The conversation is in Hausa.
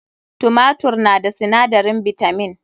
Tumatur na da sinadarin bitamin.